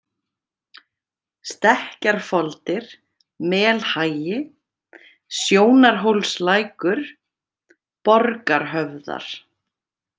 Stekkjarfoldir, Melhagi, Sjónarhólslækur, Borgarhöfðar